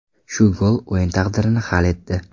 Shu gol o‘yin taqdirini hal etdi.